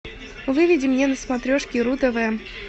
выведи мне на смотрешке ру тв